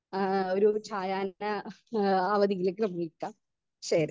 Speaker 2 ഏഹ് ഒരു ചായാ ന ഏഹ് അവധിയിലേക്ക് വിളിക്കാം ശരി.